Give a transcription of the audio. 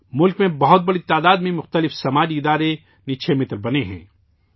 ملک میں بڑی تعداد میں مختلف سماجی تنظیمیں نکشے متر بنی ہیں